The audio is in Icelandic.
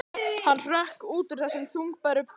Hann hrökk út úr þessum þungbæru þönkum.